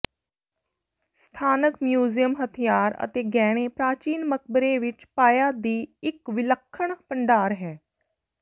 ਸਥਾਨਕ ਮਿਊਜ਼ੀਅਮ ਹਥਿਆਰ ਅਤੇ ਗਹਿਣੇ ਪ੍ਰਾਚੀਨ ਮਕਬਰੇ ਵਿਚ ਪਾਇਆ ਦੀ ਇੱਕ ਵਿਲੱਖਣ ਭੰਡਾਰ ਹੈ